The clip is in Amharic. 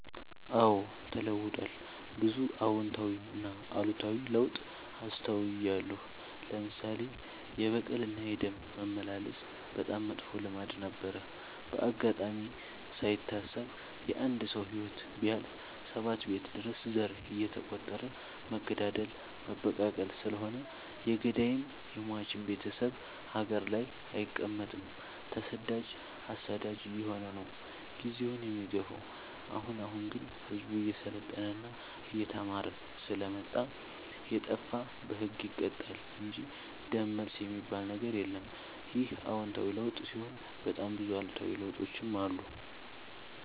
አዎድ ተለውጧል ብዙ አዎታዊ እና አሉታዊ ለውጥ አስታውያለሁ። ለምሳሌ፦ የበቀል እና የደም መመላለስ በጣም መጥፎ ልማድ ነበረ። በአጋጣሚ ካይታሰብ የአንድ ሰው ህይወት ቢያልፍ ሰባት ቤት ድረስ ዘር እየተ ቆጠረ መገዳደል መበቃቀል ስለሆነ የገዳይም የሞችም ቤቴሰብ ሀገር ላይ አይቀ መጥም ተሰዳጅ አሳዳጅ አየሆነ ነው። ጊዜውን የሚገፋው። አሁን አሁን ግን ህዝቡ እየሰለጠና እየተማረ ስለመጣ። የጣፋ በህግ ይቀጣል እንጂ ደም መልስ የሚበል ነገር የለም ይህ አዎታዊ ለውጥ ሲሆን በጣም ብዙ አሉታዊ ለውጦችም አሉ።